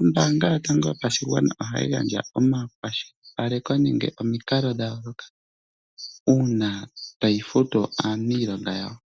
Ombaanga yotango yopashigwana ohayi gandja omakwashilipaleko nenge omikalo dha yooloka uuna tayi futu aaniilonga yawo.